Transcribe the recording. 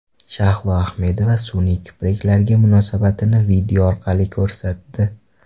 Shahlo Ahmedova sun’iy kipriklarga munosabatini video orqali ko‘rsatdi.